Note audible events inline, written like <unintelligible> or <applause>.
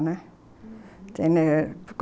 Uhum. <unintelligible>